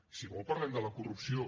si vol parlem de la corrupció